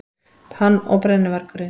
Hann og brennuvargurinn.